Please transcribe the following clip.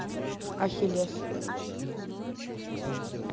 ахилес